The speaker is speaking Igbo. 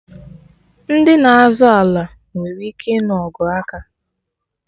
Ndị na-azọ ala nwere ike ịnụ ọgụ aka